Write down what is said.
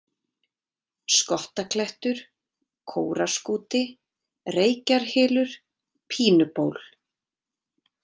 Skottaklettur, Kóraskúti, Reykjarhylur, Pínuból